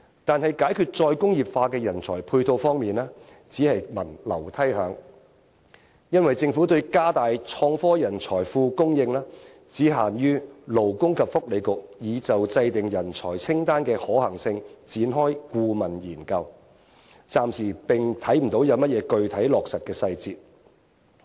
但是，在解決再工業化的人才配套方面，卻只聞樓梯響，因為政府對加大創科人才庫供應，只限於勞工及福利局已就制訂人才清單的可行性，展開顧問研究，暫時看不到有甚麼具體落實的細節。